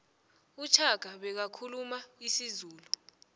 ushaka bekakhuluma isizulu